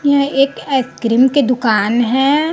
यहां एक आइसक्रीम के दुकान है।